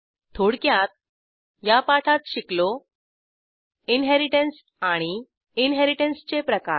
थोडक्यात या पाठात शिकलो इनहेरिटन्स आणि इनहेरिटन्सचे प्रकार